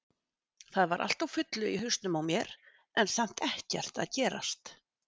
Það var allt á fullu í hausnum á mér en samt ekkert að gerast.